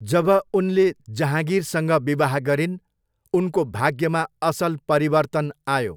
जब उनले जहाँगिरसँग विवाह गरिन्, उनको भाग्यमा असल परिवर्तन आयो।